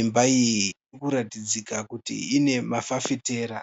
Imba iyi irikuratidzika kuti ine mafafitera.